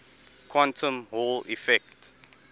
quantum hall effect